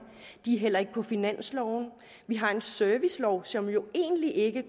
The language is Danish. de er heller ikke på finansloven vi har en servicelov som jo egentlig ikke